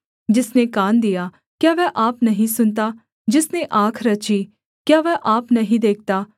जिसने कान दिया क्या वह आप नहीं सुनता जिसने आँख रची क्या वह आप नहीं देखता